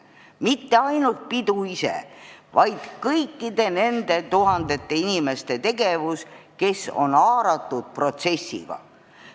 See ei tähenda ainult pidu ise, vaid kõikide tuhandete inimeste tegevust, kes on sellesse protsessi haaratud.